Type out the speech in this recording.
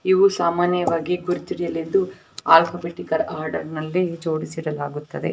ಇವು ಸಾಮಾನ್ಯವಾಗಿ ಗುರುತು ಇಡಿಲೆಂದು ಆಲಫಬೆಟಿಕಲ್ ಆರ್ಡರ್ನಲ್ಲಿ ಜೋಡಿಸಿ ಇಡಲಾಗುತ್ತೆದೆ.